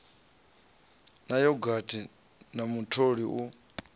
na yogathi na mutoli u